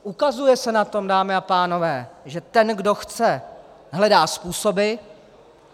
Ukazuje se na tom, dámy a pánové, že ten, kdo chce, hledá způsoby.